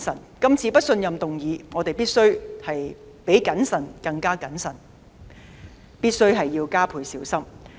面對這次的不信任議案，我們必須比謹慎更謹慎，加倍小心。